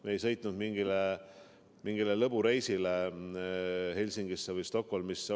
Me ei sõitnud Helsingisse või Stockholmi mingile lõbureisile.